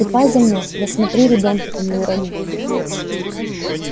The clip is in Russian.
ступай за мной да смотри ребёнка-то не урони